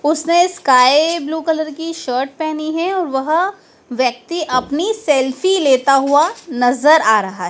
उसने sky blue colour की shirt पहनी है और वह व्यक्ति अपनी सेल्फी लेता हुआ नजर आ रहा है।